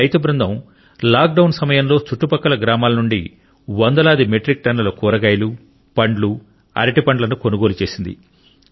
ఈ రైతు బృందం లాక్డౌన్ సమయంలో చుట్టుపక్కల గ్రామాల నుండి వందలాది మెట్రిక్ టన్నుల కూరగాయలు పండ్లు అరటిపండ్లను కొనుగోలు చేసింది